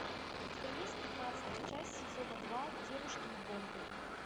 у тебя есть пятнадцатая часть сезона два девушки и бомбы